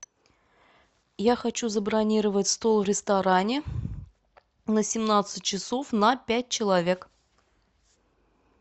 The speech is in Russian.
я хочу забронировать стол в ресторане на семнадцать часов на пять человек